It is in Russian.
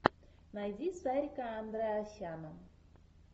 найди сарика андреасяна